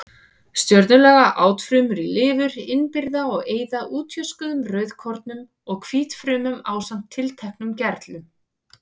Stjörnulaga átfrumur í lifur innbyrða og eyða útjöskuðum rauðkornum og hvítfrumum ásamt tilteknum gerlum.